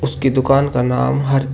कि दुकान का नाम हर--